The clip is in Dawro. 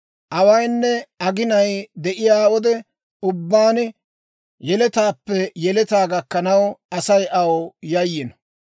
Awaynne aginay de'iyaa wode ubbaan, yeletaappe yeletaa gakkanaw, Asay aw yayiino.